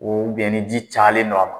ni ji cayalen don a ma.